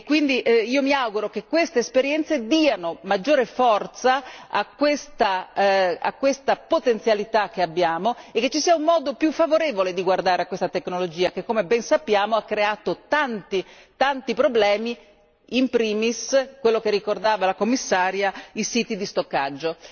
Quindi io mi auguro che queste esperienze diano maggiore forza a questa potenzialità che abbiamo e che ci sia un modo più favorevole di guardare a questa tecnologia, che come ben sappiamo ha creato numerosissimi problemi, in primis quello che ricordava il Commissario, i siti di stoccaggio.